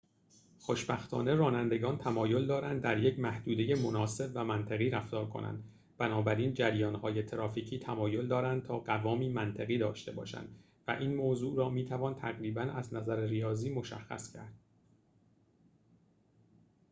خوشبختانه رانندگان تمایل دارند در یک محدوده مناسب و منطقی رفتار کنند بنابراین جریان‌های ترافیکی تمایل دارند تا قوامی منطقی داشته باشند و این موضوع را می توان تقریباً از نظر ریاضی مشخص کرد